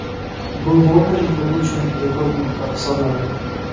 Bu London klubi uchun rekord miqdor hisoblanadi.